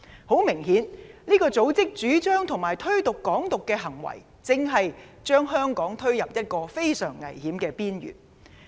很明顯，這個組織的主張和推動"港獨"的行為，正將香港推入一個非常危險的邊緣。